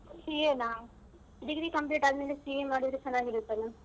CA ನಾ? Degree complete ಆದ್ಮೇಲೆ CA ಮಾಡಿದ್ರೆ ಚೆನ್ನಾಗಿ ಇರುತ್ತಲ್ಲ.